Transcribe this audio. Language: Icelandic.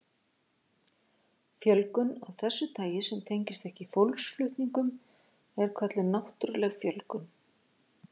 Fjölgun af þessu tagi sem tengist ekki fólksflutningum er kölluð náttúruleg fjölgun.